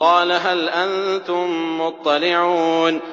قَالَ هَلْ أَنتُم مُّطَّلِعُونَ